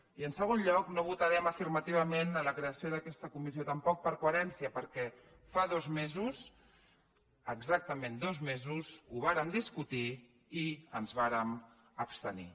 i en segon lloc no votarem afirmativament la creació d’aquesta comissió tampoc per coherència perquè fa dos mesos exactament dos mesos ho vàrem discutir i ens vàrem abstenir